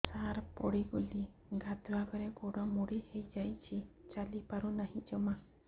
ସାର ପଡ଼ିଗଲି ଗାଧୁଆଘରେ ଗୋଡ ମୋଡି ହେଇଯାଇଛି ଚାଲିପାରୁ ନାହିଁ ଜମା